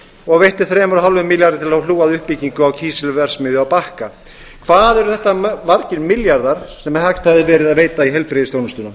og veitti þremur og hálfum milljarði til að hlúa að uppbyggingu á kísilverksmiðju á bakka hvað eru þetta margir milljarðar sem hægt hefði verið að veita í heilbrigðisþjónustuna